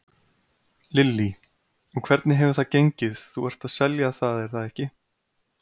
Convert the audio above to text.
Lillý: Og hvernig hefur það gengið, þú ert að selja það er það ekki?